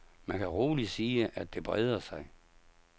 Man kan roligt sige, at det breder sig.